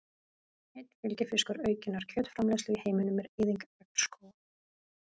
Einn fylgifiskur aukinnar kjötframleiðslu í heiminum er eyðing regnskóga.